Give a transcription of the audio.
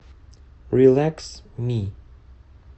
рилэкс ми